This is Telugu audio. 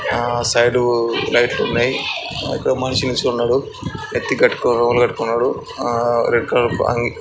ఆ సైడ్ లైట్ లు ఉన్నాయి. ఒక మనిషి నిల్చుని ఉన్నాడు. నెత్తి గట్టుకొని రుమాల్ కట్టుకొని ఉన్నాడు. ఆ రెడ్ కలర్ అంగి.